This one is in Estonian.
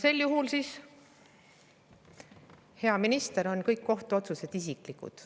Sel juhul, hea minister, on kõik kohtuotsused isiklikud.